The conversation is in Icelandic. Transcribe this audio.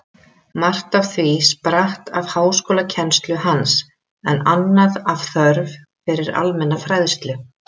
Margt af því spratt af háskólakennslu hans, en annað af þörf fyrir almenna fræðslu.